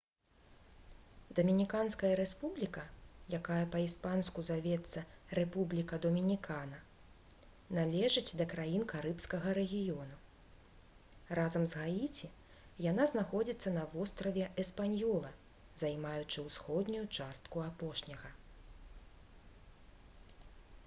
дамініканская рэспубліка якая па-іспанску завецца república dominicana належыць да краін карыбскага рэгіёну. разам з гаіці яна знаходзіцца на востраве эспаньёла займаючы ўсходнюю частку апошняга